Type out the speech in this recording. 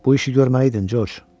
Bu işi görməli idin, George.